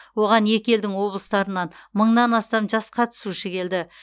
оған екі елдің облыстарынан мыңнан астам жас қатысушы келді